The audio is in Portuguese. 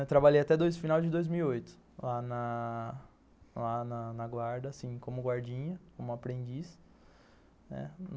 Eu trabalhei até o final de dois mil e oito lá na lá na guarda, assim como guardinha, como aprendiz, né.